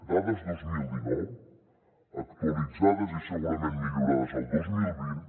dades dos mil dinou actualitzades i segurament millorades el dos mil vint